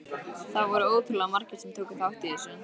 Það voru ótrúlega margir sem tóku þátt í þessu.